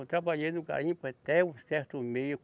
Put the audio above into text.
Eu trabalhei no garimpo até um certo meio.